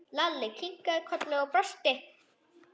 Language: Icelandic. Lalli kinkaði kolli og brosti.